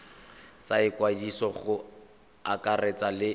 tsa ikwadiso go akaretsa le